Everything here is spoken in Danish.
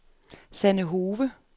Sanne Hove